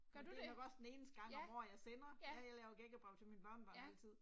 Gør du det? Ja, ja, ja